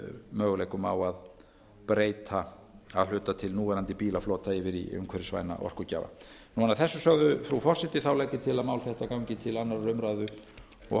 möguleikum á að breyta að hluta til núverandi bílaflota yfir í umhverfisvæna orkugjafa að þessu sögðu frú forseti legg ég til að mál þetta gangi til annarrar umræðu og